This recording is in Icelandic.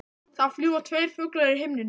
Það fljúga tveir fuglar í himninum.